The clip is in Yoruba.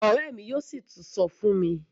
Òré mí yóò sí tún sọ fún mi.